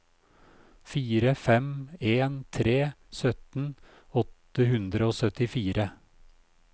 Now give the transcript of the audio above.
fire fem en tre sytten åtte hundre og syttifire